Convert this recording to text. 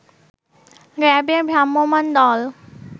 RAB এর ভ্রাম্যমান দল